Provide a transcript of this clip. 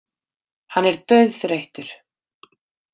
Hann er dauðþreyttur.